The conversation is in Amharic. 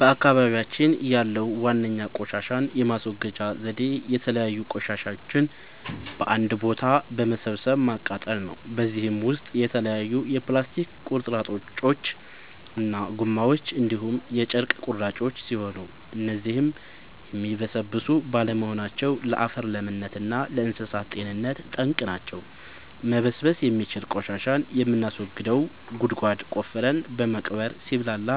በአካባቢያችን ያለዉ ዋነኛ ቆሻሻን የማስወገጃ ዘዴ የተለያዩ ቆሻሻዎችን በአንድ ቦታ በመሰብሰብ ማቃጠል ነው። በዚህም ውስጥ የተለያዩ የፕላስቲክ ቁርጥራጮች እና ጎማዎች እንዲሁም የጨርቅ ቁራጮች ሲሆኑ እነዚህም የሚበሰብሱ ባለመሆናቸው ለአፈር ለምነት እና ለእንሳሳት ጤንነት ጠንቅ ናቸው። መበስበስ የሚችል ቆሻሻን የምናስወግደው ጉድጓድ ቆፍረን በመቅበር ሲብላላ